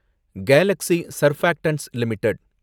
Galaxy Surfactants limited